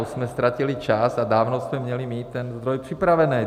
Už jsme ztratili čas a dávno jsme měli mít ten zdroj připravený.